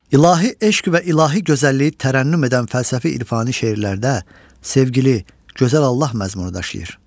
İlahi eşq və ilahi gözəlliyi tərənnüm edən fəlsəfi-irfani şeirlərdə sevgili, gözəl Allah məzmunu daşıyır.